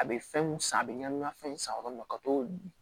A bɛ fɛnw san a bɛ ɲani ŋa fɛn san yɔrɔ min na ka to